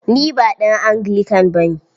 Ni ba ɗan Anglican ba ne.